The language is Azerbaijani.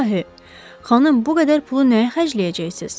İlahi, xanım bu qədər pulu nəyə xərcləyəcəksiz?